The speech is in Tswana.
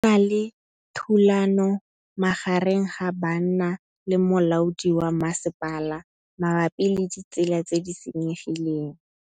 Go na le thulanô magareng ga banna le molaodi wa masepala mabapi le ditsela tse di senyegileng.